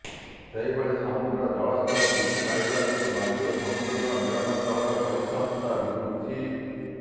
ସେହିଭଳି ସମୁଦ୍ରର ଜଳସ୍ତର ବୃଦ୍ଧି ପାଇବା ଯୋଗୁଁ ନଦୀ ଓ ସମୁଦ୍ରର ମିଳନସ୍ଥଳର ପରିସଂସ୍ଥା ବିଗୁଡ଼ୁଛି